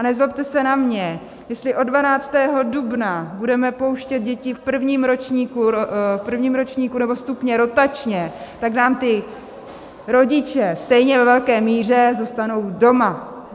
A nezlobte se na mě, jestli od 12. dubna budeme pouštět děti v prvním ročníku nebo stupni rotačně, tak nám ti rodiče stejně ve velké míře zůstanou doma.